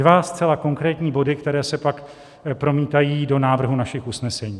Dva zcela konkrétní body, které se pak promítají do návrhu našich usnesení.